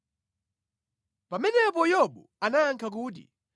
Pamenepo Yobu anayankha kuti,